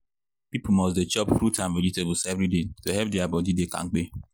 people must dey chop fruit and vegetables every day to help their body dey kampe.